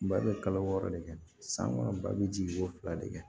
Ba bɛ kalo wɔɔrɔ de kɛ san kɔnɔ ba bɛ jigin ko fila de kɛ